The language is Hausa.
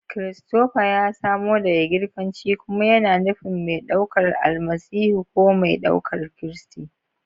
Christopher ya samo daga Girkanci kuma yana nufin "mai ɗaukar Almasihu" ko "mai ɗaukar Kristi."